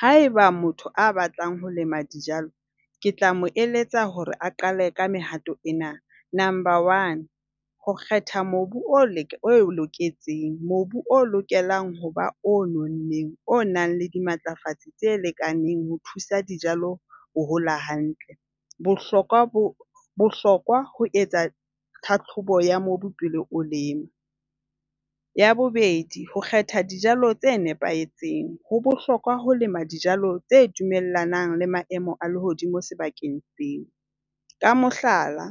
Haeba motho a batlang ho lema dijalo, ke tla mo eletsa hore a qale ka mehato ena. Number one. Ho kgetha mobu o loketseng. Mobu o lokelang ho ba o nonneng, o nang le dimatlafatsi tse lekaneng ho thusa dijalo ho hola hantle. Bohlokwa ho bohlokwa ho etsa tlhahlobo ya mobu pela o lema. Ya bobedi, ho kgetha dijalo tse nepahetseng. Ho bohlokwa ho lema dijalo tse dumellanang le maemo a lehodimo sebakeng seo. Ka mohlala,